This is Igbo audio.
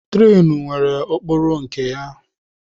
Trenu nwere okporo nke ya.